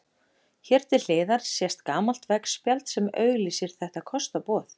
Hér til hliðar sést gamalt veggspjald sem auglýsir þetta kostaboð.